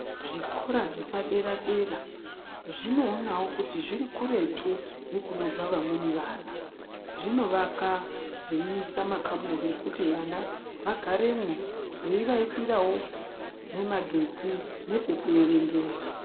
Zvikora zvepadera-dera, zvinoonawo kuti zviri kuretu nekunobva vamweni vana . Zvinovakwa zveiisa makamuri ekuti vana vagaremwo, veivaisirawo nemagetsi nepekuerengera.